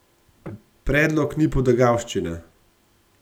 Predlog ni potegavščina.